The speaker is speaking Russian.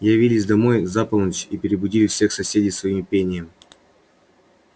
явились домой за полночь и перебудили всех соседей своим пением